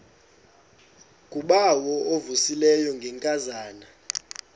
ngubawo uvuyisile ngenkazana